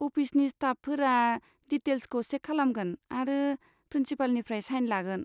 अफिसनि स्टाफफोरा डिटेल्सखौ चेक खालामगोन आरो प्रिन्सिपालनिफ्राय साइन लागोन।